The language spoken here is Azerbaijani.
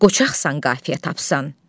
Qoçaqsan qafiyə tapsan.